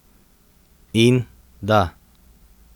In, da.